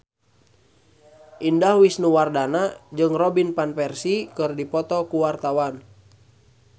Indah Wisnuwardana jeung Robin Van Persie keur dipoto ku wartawan